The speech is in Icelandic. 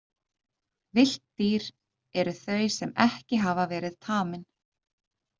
Villt dýr eru þau sem ekki hafa verið tamin.